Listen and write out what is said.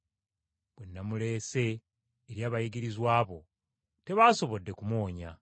Bwe namuleese eri abayigirizwa bo tebasobodde kumuwonya.”